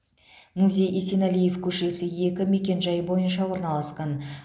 музей есенәлиев көшесі екі мекенжайы бойынша орналасқан